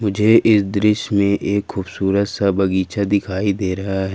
मुझे इस दृश्य में एक खूबसूरत सा बगीचा दिखाई दे रहा है।